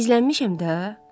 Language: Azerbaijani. Gizlənmişəm də.